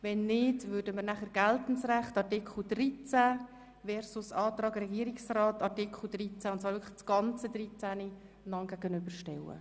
Wenn nicht, würden wir den Antrag Sommer dem Antrag Regierungsrat zum gesamten Artikel 13 gegenüberstellen.